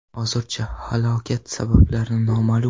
Hozircha halokat sabablari noma’lum.